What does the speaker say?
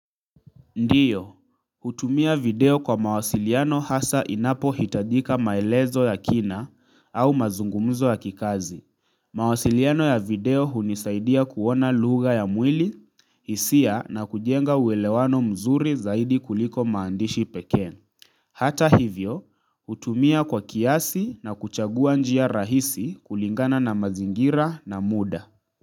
Ndiyo, hutumia video kwa mawasiliano hasa inapohitadika maelezo ya kina au mazungumzo ya kikazi. Mawasiliano ya video hunisaidia kuona lugha ya mwili, hisia na kujenga uelewano mzuri zaidi kuliko maandishi pekee. Hata hivyo, hutumia kwa kiasi na kuchagua njia rahisi kulingana na mazingira na mda.